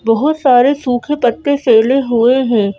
बहुत सारे सूखे पत्ते फैले हुए हैं।